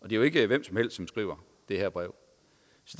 jo ikke hvem som helst som skriver det her brev